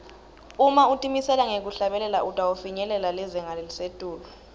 uma utimisele ngekuhlabela utawufinyelela lizinga lelisetulu